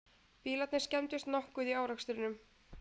Bílarnir skemmdust nokkuð í árekstrinum